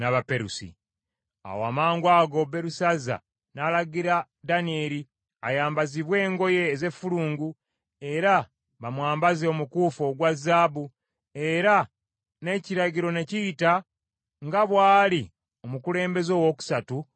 Awo amangwago Berusazza n’alagira Danyeri ayambazibwe engoye ez’effulungu, era bamwambaze omukuufu ogwa zaabu, era n’ekiragiro ne kiyita nga bw’ali omukulembeze owookusatu mu bwakabaka.